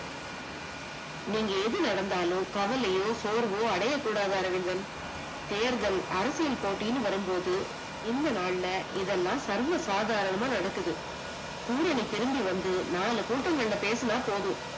நீங்க எது நடந்தாலும், கவலையோ, சோர்வோ அடையகூடது அரவிந்தன். தேர்தல் அரசியல் போட்டின்னு வரும்போது இந்த நாள்ல இது எல்லாம் சர்வ சாதாரனம நடக்குது, பூரணி திரும்பி வந்து நாலு கூடங்கள்ல பேசினா போதும்.